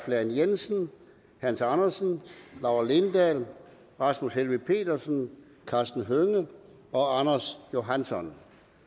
lahn jensen hans andersen laura lindahl rasmus helveg petersen karsten hønge og anders johansson